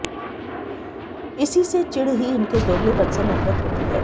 इसी से चिड़ ही इनके दोगले पन से नफरत होती है